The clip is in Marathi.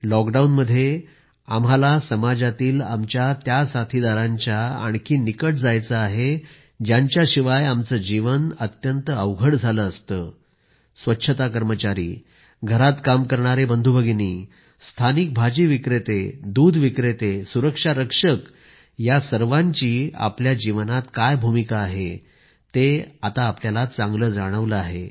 लॉकडाऊनमध्ये आम्हाला समाजातील आमच्या त्या साथीदारांच्या आणखी निकट जायचं आहे ज्यांच्याशिवाय आमचं जीवन अत्यंत अवघड झालं असतं स्वच्छता कर्मचारी घरात काम करणारे बंधुभगिनी स्थानिक भाजी विक्रेते दूध विक्रेते सुरक्षा रक्षक या सर्वांची आमच्या जीवनात काय भूमिका आहे ते आम्हाला चांगलं जाणवलं आहे